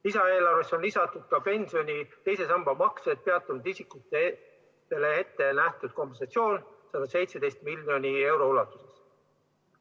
Lisaeelarvesse on lisatud ka pensioni teise samba maksed peatanud isikutele ette nähtud kompensatsioon 117 miljoni euro ulatuses.